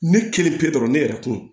Ne kelen pe dɔrɔn ne yɛrɛ tun